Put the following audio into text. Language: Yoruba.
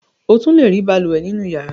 O tún le rí balùwẹ̀ nínú ìyàrá.